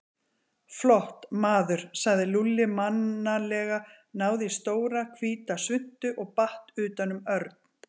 Flott, maður sagði Lúlli mannalega, náði í stóra, hvíta svuntu og batt utan um Örn.